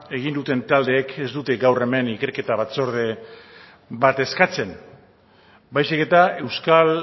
egin duten taldeek ez dute gaur hemen ikerketa batzorde bat eskatzen baizik eta euskal